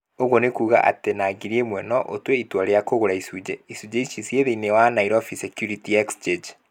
Ũguo nĩ kuuga atĩ na ngiri ĩmwe , no ũtue itua rĩa kũgũra icunjĩ. Icunjĩ ici ci thĩinĩ wa Nairobi Securities Exchange.